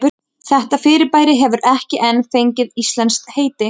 Þetta fyrirbæri hefur ekki enn fengið íslenskt heiti.